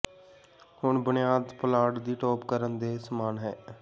ਹੁਣ ਬੁਨਿਆਦ ਪੁਲਾੜ ਦੀ ਟੋਪ ਕਰਨ ਦੇ ਸਮਾਨ ਹੈ